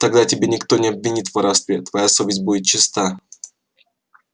тогда тебя никто не обвинит в воровстве твоя совесть будет чиста